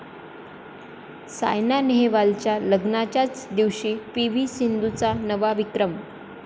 सायना नेहवालच्या लग्नाच्याच दिवशी पी.व्ही. सिंधूचा नवा विक्रम